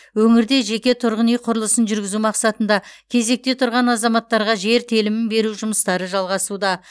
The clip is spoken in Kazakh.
өңірде жеке тұрғын үй құрылысын жүргізу мақсатында кезекте тұрған азаматтарға жер телімін беру жұмыстары жалғасуда